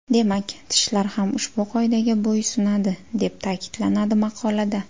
Demak, tishlar ham ushbu qoidaga bo‘ysunadi, deb ta’kidlanadi maqolada.